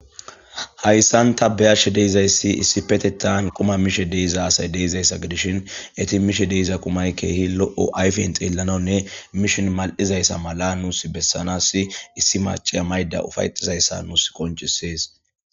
hayssan ta beyashe deizayssi issi petetan quma mishe deiza asay deizayssa gidishin eti mishe deiza kumay keehi lo7o ayfen xeellanaunne mishin mal7izayssa mala nuus bessanas issi maciya mayda ufayxizayssa nuus qoncisees